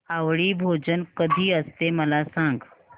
आवळी भोजन कधी असते मला सांग